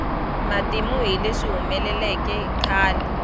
matimu hi leswi humeleleke khale